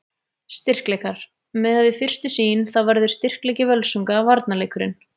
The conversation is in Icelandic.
Styrkleikar: Miðað við fyrstu sýn þá verður styrkleiki Völsunga varnarleikurinn.